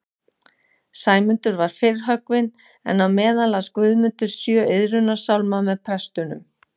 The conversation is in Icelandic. Sæmundur var fyrr höggvinn, en á meðan las Guðmundur sjö iðrunarsálma með prestunum